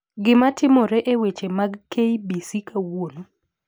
gima timore e weche mag k. b. c. kawuono